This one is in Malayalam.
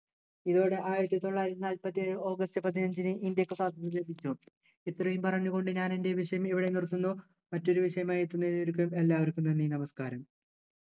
ഇതോടെ ആയിരത്തിത്തൊള്ളായിരത്തി നാല്പത്തി ഏഴു ഓഗസ്റ്റ് പതിനഞ്ചിനു ഇന്ത്യക്ക് സ്വാതന്ത്ര്യം ലഭിച്ചു ഇത്രയും പറഞ്ഞു കൊണ്ട് ഞാനെൻ്റെ വിഷയം ഇവിടെ നിർത്തുന്നു മറ്റൊരു വിഷയവുമായി എത്തുന്നതുവരെ എല്ലാവർക്കും നന്ദി നമസ്കാരം